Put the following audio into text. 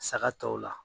Saga tɔw la